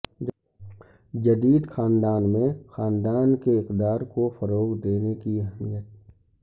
جدید خاندان میں خاندان کے اقدار کو فروغ دینے کی اہمیت